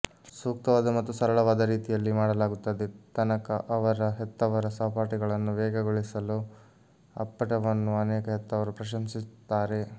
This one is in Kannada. ಸೂಕ್ತವಾದ ಮತ್ತು ಸರಳವಾದ ರೀತಿಯಲ್ಲಿ ಮಾಡಲಾಗುತ್ತದೆ ತನಕ ಅವರ ಹೆತ್ತವರ ಸಹಪಾಠಿಗಳನ್ನು ವೇಗಗೊಳಿಸಲು ಅಪ್ಪಟವನ್ನು ಅನೇಕ ಹೆತ್ತವರು ಪ್ರಶಂಸಿಸುತ್ತಾರೆ